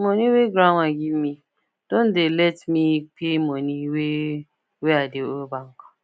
money wey grandma give me don let me pay money wey wey i dey owe bank